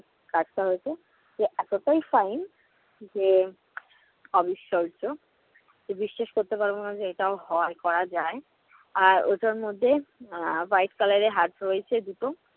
card টা হয়েছে যে এতোটাই fine যে অবিশ্বাস্য। কেউ বিশ্বাস করতে পারবে না যে এটাও হয়, করা যায়। আর ওটার মধ্যে আহ white color এর heart রয়েছে দুটো।